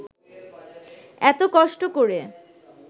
এত কষ্ট করে